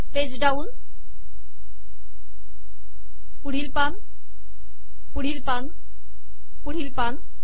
page down पुढील पान पुढील पान पुढील पान